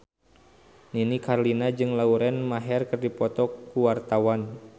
Nini Carlina jeung Lauren Maher keur dipoto ku wartawan